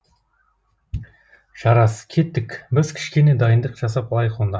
жарас кеттік біз кішкене дайындық жасап алайық онда